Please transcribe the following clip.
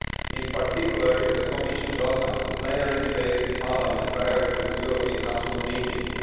In particular, the Commission welcomes the plenary debates in Parliament prior to European Council meetings.